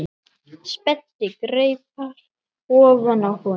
Spennti greipar ofan á honum.